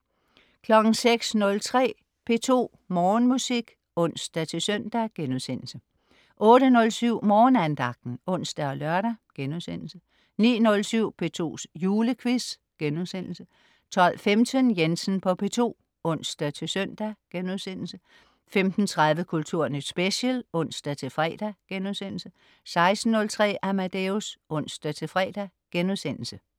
06.03 P2 Morgenmusik (ons-søn)* 08.07 Morgenandagten (ons og lør)* 09.07 P2's Julequiz* 12.15 Jensen på P2 (ons-søn)* 15.30 Kulturnyt special (ons-fre)* 16.03 Amadeus (ons-fre)*